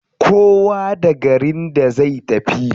Kowa da garin da zai tafi.